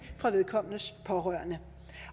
fra vedkommendes pårørende